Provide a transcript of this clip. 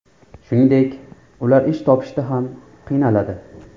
Shuningdek, ular ish topishda ham qiynaladi.